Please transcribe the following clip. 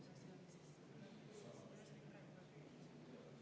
Kahtlemata on siin seaduses selle asjaga üle pakutud.